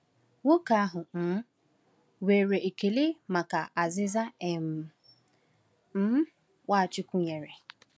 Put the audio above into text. Nwoke ahụ um nwere ekele maka azịza um um Nwachukwu nyere.